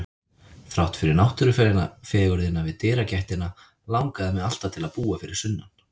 Þrátt fyrir náttúrufegurðina við dyragættina langaði mig alltaf til að búa fyrir sunnan.